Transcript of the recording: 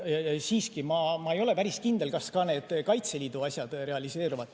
Ja ma ei ole päris kindel, kas ka need Kaitseliidu asjad realiseeruvad.